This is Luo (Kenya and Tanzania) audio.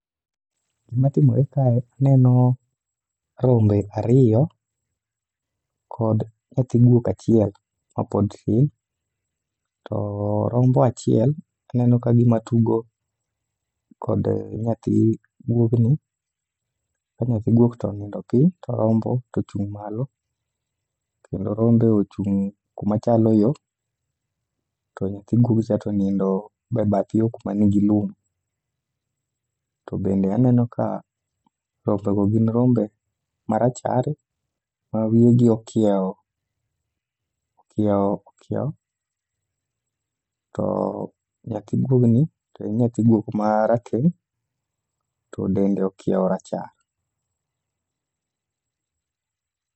Gima timore kae, aneno rombe ariyo kod nyathi guok achiel mapod tin. To rombo achiel aneno ka gima tugo kod nyathi guogni, ka nyathi guok to onindo piny to rombo tochung' malo. Kendo rombe ochung' kuma chalo yo, to nyathi guogcha tonindo e bath yo kuma nigi lum. To bende aneno ka rombego gin rombe marachar ma wiyegi okiewo, okiewo, okiewo. To nyathi guogni to en nyathi guok marateng' to dende okiewo rachar.